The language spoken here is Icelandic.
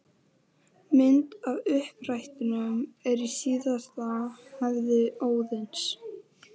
Mamma gjóaði til mín auga undan svörtum hártoppnum.